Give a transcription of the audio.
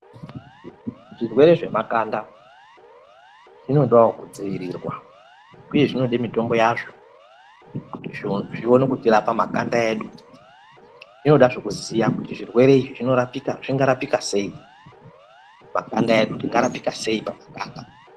Zvirwe zvemakanda zvinodawo kudziiriwa uye zvinoda mitombo yazvo kuti zvione kutirapa makanda edu. Zvinodahe kuziya kuti zvirwe izvi zvingarapika seyi, makanda edu tingarapika seyi pamakanda.